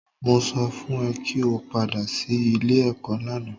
Mo sọ fún ẹ kí o padà sí ilé-ẹ̀kọ́ lánàá